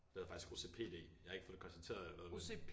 Det hedder faktisk OCPD jeg har ikke fået det konstateret eller noget men